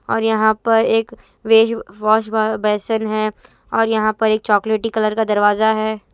और यहाँ पर एक वे यु वॉशबेसिन है और यहाँ पर एक चॉकलेट कलर का दरवाजा है।